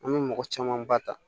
An bɛ mɔgɔ caman ba ta